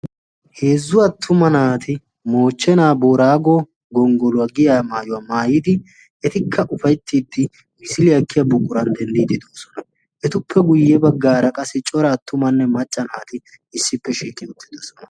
Heezzu attuma naati moochchenaa boraago gonggoluwaa giya maayuwaa maayidi etikka ufayttiiddi misiliyaa ekkiya buqquran denddiidi doosona. etuppe guyye baggaara qassi cora attumanne macca naati issippe shiiqi uttidosona.